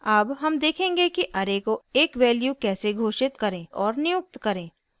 अब हम देखेंगे कि array को एक value कैसे घोषित करें और नियुक्त करें